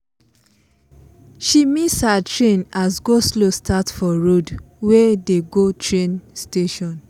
she miss her train as go-slow start for road wey dey go train station.